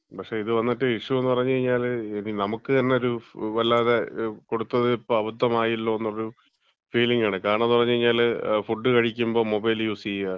പക്ഷേ ഇത് വന്നിട്ട് ഇഷ്യു എന്ന് പറഞ്ഞ് കഴിഞ്ഞാല്, നമുക്ക് തന്നെ ഒരു വല്ലാതെ കൊടുത്തത് ഇപ്പം അബദ്ധമായല്ലോ എന്നൊരു ഫീലിങ് ആണ്. കാരണന്ന് പറഞ്ഞ്കഴിഞ്ഞാല്, ഫുഡ് കഴിക്കുമ്പോ മൊബൈൽ യൂസ് ചെയ്യ,